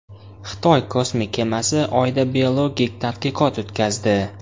Xitoy kosmik kemasi Oyda biologik tadqiqot o‘tkazdi.